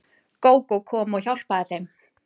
Gógó kom og hjálpaði þeim.